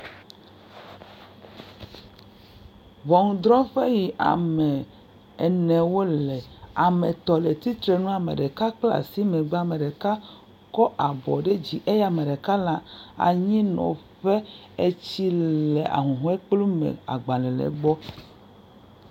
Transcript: Ŋɔnudrɔƒe yi ame ene wole. Ame le tsitrenu, ame ɖeka kpla asi megbe, ame ɖeka kɔ abɔ ɖe dzi eye ame ɖe le anyinɔƒe. Etsi le ahuhɔe kplu me, agbalẽ le gbɔ.